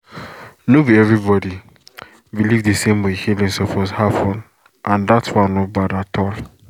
no be everybody believe the same way healing suppose happen and that one no bad at all